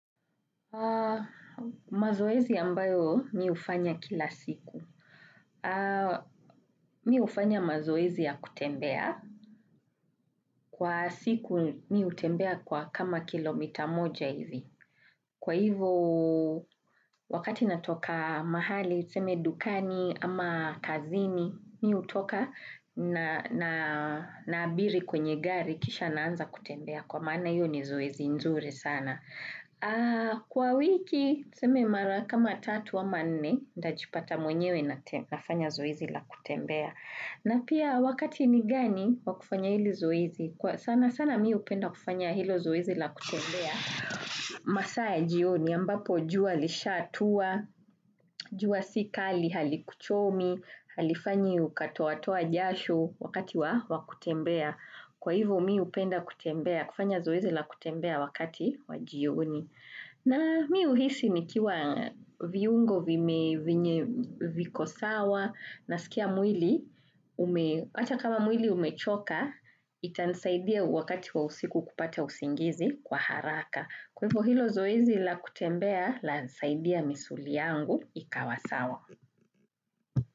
Mazoezi ambayo mimi hufanya kila siku. Mimi hufanya mazoezi ya kutembea. Kwa siku mimi hutembea kwa kama kilomita moja hivi. Kwa hivyo wakati natoka mahali, tuseme dukani ama kazini, mimi hutoka na abiria kwenye gari kisha naanza kutembea. Kwa maana hiyo ni zoezi nzuri sana. Kwa wiki, niseme mara kama tatu ama nne, najipata mwenyewe nafanya zoezi la kutembea. Na pia wakati ni gani wakufanya hili zoezi? Sana sana mimi hupenda kufanya hilo zoezi la kutembea. Masaa ya jioni, ambapo jua lishatua, jua sikali, halikuchomi, halifanyi ukatoatoa jasho wakati wa kutembea. Kwa hivyo mimi hupenda kutembea, kufanya zoezi la kutembea wakati wa jioni. Na mimi huhisi nikiwa viungo viko sawa nasikia mwili, hata kama mwili umechoka, itanisaidia wakati wa usiku kupata usingizi kwa haraka. Kwa hiyo hilo zoezi la kutembea lanisaidia misuli yangu ikawa sawa.